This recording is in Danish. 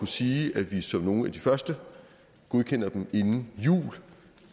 sige at vi som nogle af de første godkender dem inden jul